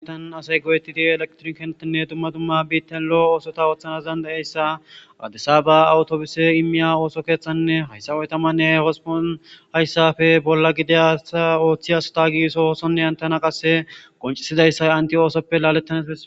An asay gooyetidi elektron kenotinne dumma tumma biittan lo'o oosota ooththanas dandayayssa adesaba awutobuse imiya ooso keeththanne hayssa oytamanne hospon hayssafe bolla gideasa ooththiyasota giso oosonne hantana qasse qoncisidayssay anti oosoppe laalettane.